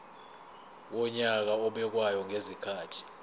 wonyaka obekwayo ngezikhathi